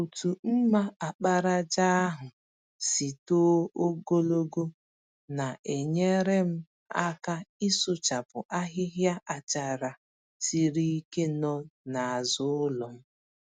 Otu mma àkpàràjà ahụ si too gologo na-enyere m aka ịsụchapụ ahịhịa àchàrà siri ike nọ n'azụ ụlọm.